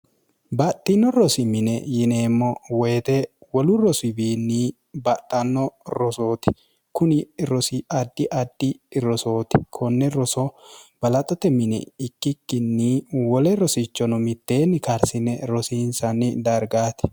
baxxino rosimine yineemmo woyite wolu rosiwiinni baxxanno rosooti kuni rosi addi addi rosooti konne roso balaxote mine ikkikkinni wole rosichono mitteenni karsine rosiinsanni dargaati